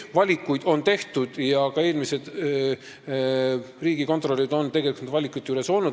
Valikuid on tehtud ja ka eelmised riigikontrolörid on tegelikult nende valikute juures olnud.